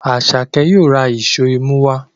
Asake yóò rà Èṣó imú wá.